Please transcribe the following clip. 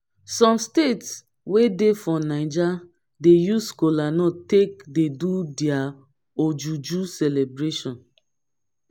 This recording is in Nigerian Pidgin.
som state wey dey for naija dey use kolanut take dey do dia ojuju celebration